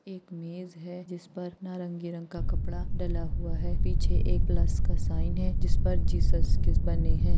एक मेज़ हैं जिस पर नारंगी रंग का कपडा डला हुआ हैं पीछे एक प्लस का साइन हैं जिस पर जिस्स बने हैं।